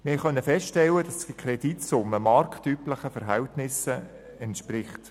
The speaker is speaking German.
Wir durften feststellen, dass die Kreditsumme marktüblichen Verhältnissen entspricht.